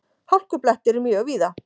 Hálkublettir mjög víða